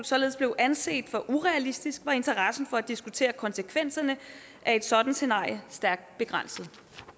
således blev anset for urealistisk var interessen for at diskutere konsekvenserne af et sådant scenarie stærkt begrænset